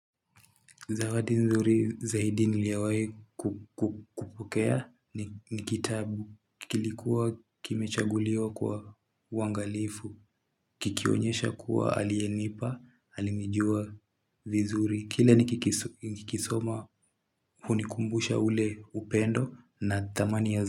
Zawadi nzuri zaidi niliyowahi kupokea ni kitabu kilikuwa kimechaguliwa kwa uangalifu Kikionyesha kuwa aliyenipa, alinijua vizuri, kile nikikisoma hunikumbusha ule upendo na thamani ya.